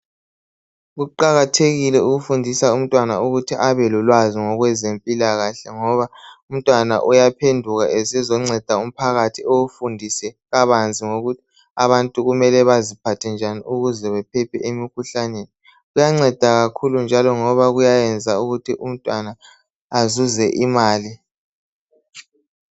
Kuqakathekile ukufundisa umntwana ukuthi abelolwazi ngokwezempilakahle ngoba umntwana uyaphenduka esezonceda umphakathi, awufundise kabanzi ngokuthi abantu kumele baziphathe njani ukuze bephephe emikhuhlaneni. Kuyanceda kakhulu ngoba kuyayenza umntwana azuze imali.